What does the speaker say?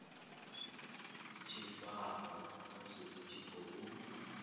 tshifhao musi i tshi khou